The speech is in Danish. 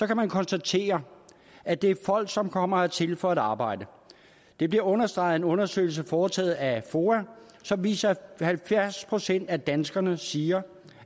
kan man konstatere at det er folk som kommer hertil for arbejde det bliver understreget af en undersøgelse foretaget af foa som viser at halvfjerds procent af danskerne siger